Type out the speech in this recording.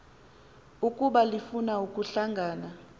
ukuba lifuna ukuhlangana